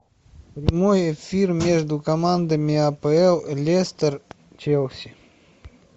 прямой эфир между командами апл лестер челси